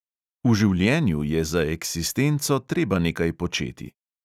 V življenju je za eksistenco treba nekaj početi.